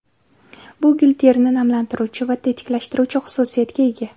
Bu gil terini namlantiruvchi va tetiklashtiruvchi xususiyatga ega.